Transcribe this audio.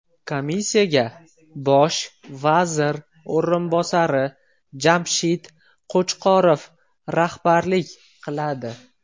Komissiyaga Bosh vazir o‘rinbosari Jamshid Qo‘chqorov rahbarlik qiladi.